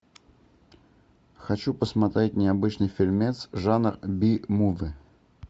хочу посмотреть необычный фильмец жанр би муви